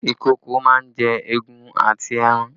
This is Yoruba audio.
Ìkokò máa ń jẹ egun àti ẹran